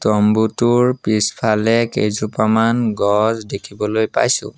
তম্বুটোৰ পিছফালে কেইজোপামান গছ দেখিবলৈ পাইছোঁ।